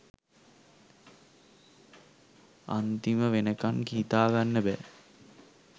අන්තිම වෙනකන් හිතාගන්න බෑ